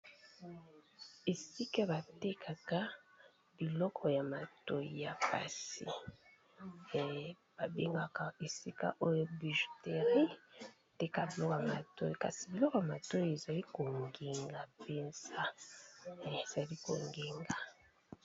Esiika ba tekaka biloko ya matoyi ya basi . Ba bengaka esika oyo bijouterie, Ba tekak biloko ya matoyi, kasi biloko ya matoyi ezali ko ngenga penza, ezali ko ngenga .